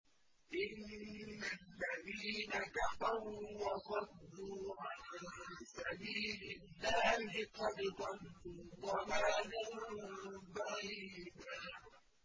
إِنَّ الَّذِينَ كَفَرُوا وَصَدُّوا عَن سَبِيلِ اللَّهِ قَدْ ضَلُّوا ضَلَالًا بَعِيدًا